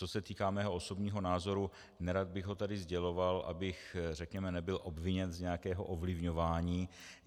Co se týká mého osobního názoru, nerad bych ho tady sděloval, abych, řekněme, nebyl obviněn z nějakého ovlivňování.